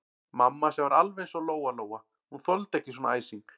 Mamma sem var alveg eins og Lóa-Lóa, hún þoldi ekki svona æsing.